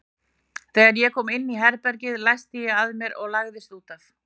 Þegar ég kom inn á herbergið læsti ég að mér og lagðist út af.